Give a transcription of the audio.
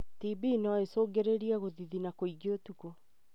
TB no ĩcungĩrĩrie gũthithina kwingĩ ũtukũ.